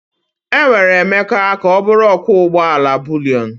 Enwere Emeka ka ọ bụrụ ọkwọ ụgbọ ala buliyon.